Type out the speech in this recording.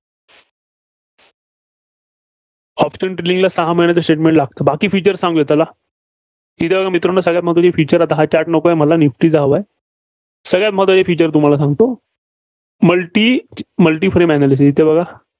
option ला सहा महिन्यांचे Statment लागते. बाकी features चांगले आहेत त्याला. ठीक आहे मित्रांनो, सगळ्या महत्त्वाचं Feature हा chart नको आहे मला. निफ्टीचा हवा आहे. सगळ्या महत्त्वाचं Feature तुम्हाला सांगतो. multi multi frame analysis इथं बघा.